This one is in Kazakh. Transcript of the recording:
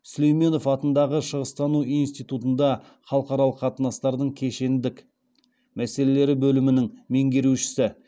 сүлейменов атындағы шығыстану институтында халықаралық қатынастардың кешендік мәселелері бөлімінің меңгерушісі